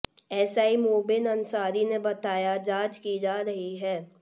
SI Mobin Ansari ने बताया जांच की जा रही है